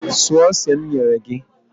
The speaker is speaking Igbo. Suo ose m nyere gị!